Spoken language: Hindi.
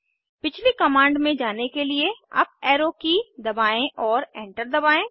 पिछली कमांड में जाने के लिए अप एरो की दबाएं और एंटर दबाएं